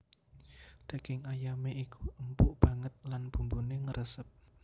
Daging ayamé iku empuk banget lan bumbuné ngresep